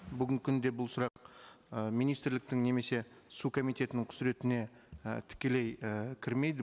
бүгінгі күнде бұл сұрақ ы министрліктің немесе су комитетінің құзыретіне і тікелей і кірмейді